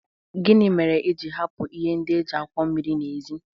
Gịnị mere i ji hapụ ihe ndị e ji akwọ mmiri n'èzí?